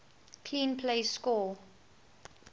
clean plays score